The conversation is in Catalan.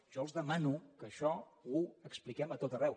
jo els demano que això ho expliquem a tot arreu